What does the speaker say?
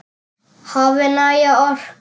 Hafi næga orku.